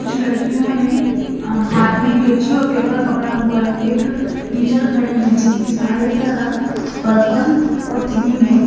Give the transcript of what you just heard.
कुछ लड़कियों ने हाथ में कैची और पेपर पकड़ा हुआ है। एक टीचर खड़ी है जिनकी साड़ी का रंग पर्पल और क्रीम है।